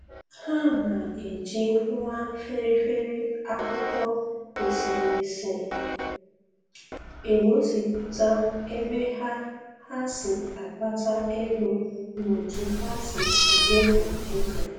Ha na-eji nwa feri feri akwụkwọ eserese egosịpụta ebe ha ha si akpata ego na otu ha si emefu ego